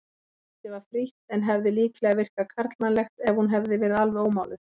Andlitið var frítt en hefði líklega virkað karlmannlegt ef hún hefði verið alveg ómáluð.